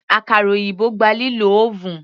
Àkàrà òyìnbó gba lílo oven.